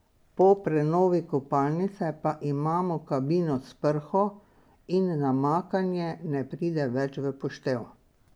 Po prenovi kopalnice pa imamo kabino s prho in namakanje ne pride več v poštev.